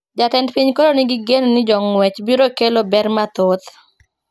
Jatend piny koro ni gi geno ni jongwech biro kelo ber mathoth